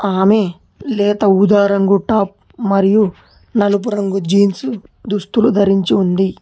ఆమె లేత ఊదా రంగు టాప్ మరియు నలుపు రంగు జీన్సు దుస్తులు ధరించి ఉంది.